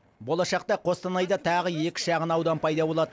болашақта қостанайда тағы екі шағын аудан пайда болады